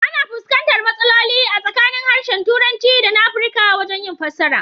Ana fuskantar matsaloli a tsakanin harshen Turanci dana Afrika wajen yin fassara.